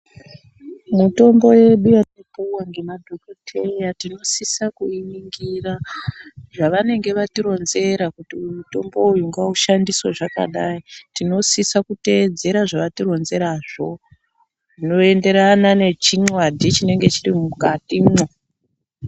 Mutombo yedu yetinopuwa ngemadhokodheya tinosise kuiningira zvavanenge vatironzera kuti uyu mutombo uyu ngaushandiswe zvakadai tinosisa kuteedzera zvavatironzerazvo zvinoenderana nechinwadhi chinenge chirimukatimwo .